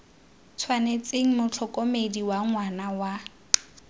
tshwanetseng motlhokomedi wa ngwana wa